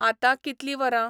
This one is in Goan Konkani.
आतांं कितली वरां ?